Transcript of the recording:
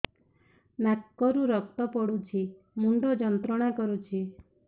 ନାକ ରୁ ରକ୍ତ ପଡ଼ୁଛି ମୁଣ୍ଡ ଯନ୍ତ୍ରଣା କରୁଛି